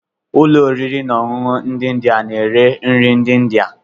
Ụlọ oriri na ọṅụṅụ ndị India na-ere nri ndị India.